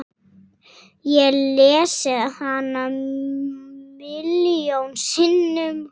Ég lesið hana milljón sinnum.